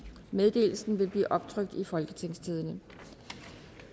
meddelelserne vil blive optrykt i folketingstidende